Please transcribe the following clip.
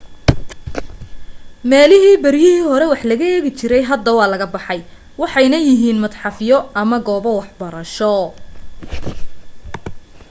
meelihii beryihii hore wax laga eegi jiray hadda waa laga baxay waxayna yihiin madxafyo ama goobo waxbarasho